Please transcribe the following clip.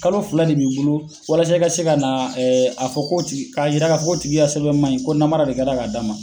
Kalo fila de b'i bolo walasa i ka se ka na a fɔ k'o tigi k'a yira k'a fɔ k'o tigi ka sɛbɛn man ɲi ko namara de kɛra k'a d'a ma.